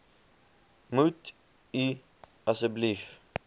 moet u asseblief